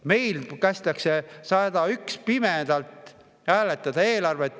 Meil kästakse 101 inimesel eelarvet pimesi hääletada.